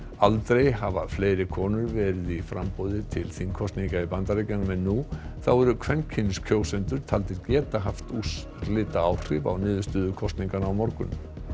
aldrei hafa fleiri konur verið í framboði til þingkosninga í Bandaríkjunum en nú þá eru kvenkyns kjósendur taldir geta haft úrslitaáhrif á niðurstöðu kosninganna á morgun